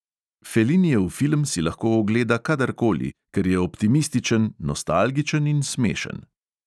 Felinijev film si lahko ogleda kadarkoli, ker je optimističen, nostalgičen in smešen.